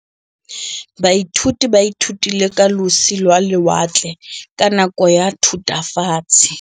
Baithuti ba ithutile ka losi lwa lewatle ka nako ya Thutafatshe.